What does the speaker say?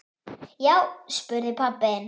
Já, spyrðu pabba þinn!